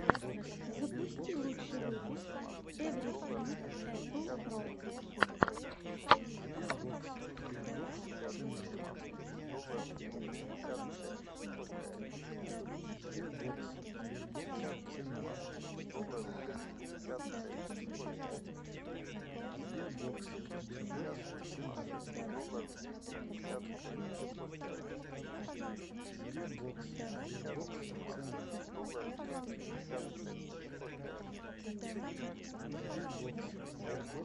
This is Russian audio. запусти лучший выпуск эврифинг эппл про